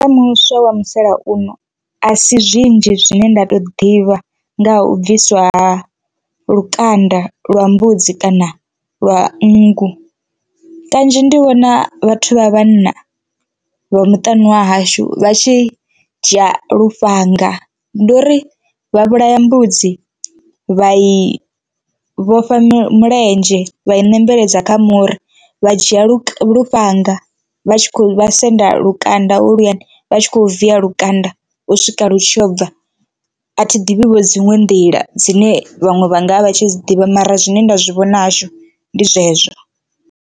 Muswa wa musalauno a si zwinzhi zwine nda to ḓivha nga ha u bviswa lukanda lwa mbudzi kana lwa nngu kanzhi ndi vhona vhathu vha vhanna vha muṱani wa hashu vha tshi dzhia lufhanga. Ndi uri vha vhulaya mbudzi vha i vhofha mulenzhe vha i nembeledza kha muri vha dzhia lu lufhanga vha tshi kho vha senda lukanda holuyani vha tshi kho viya lukanda u swika vhutshilo bva, a thi ḓivhi vho dziṅwe nḓila dzine vhaṅwe vha ngavha vha tshi dzi ḓivha mara zwine nda zwi vhona hashu ndi zwezwo.